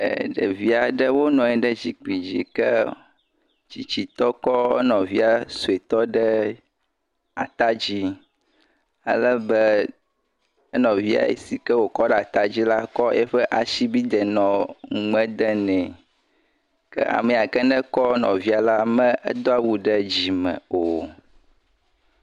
Eeee. ɖevi aɖewo nɔ anyi ɖe zikpui aɖe dzi yike tsitsitɔ kɔ nɔvia ɖe ata dzi alebe enɔvia yi ke wòkɔ ɖe ata dzi la nɔ asi dem nume nɛ, ame si ke kɔ nɔvia la megbe awu ɖe dzime o